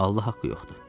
Allah haqqı yoxdur.